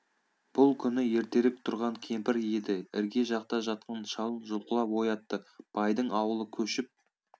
бұл күні ертерек тұрған кемпір еді ірге жақта жатқан шалын жұлқылап оятты байдың ауылы көшіп